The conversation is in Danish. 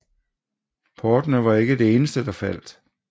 Portene var ikke det eneste der faldt